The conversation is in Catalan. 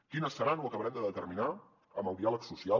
quines seran ho acabarem de determinar amb el diàleg social